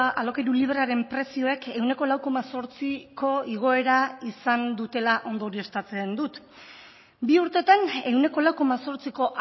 alokairu librearen prezioek ehuneko lau koma zortziko igoera izan dutela ondorioztatzen dut bi urtetan ehuneko lau koma zortziko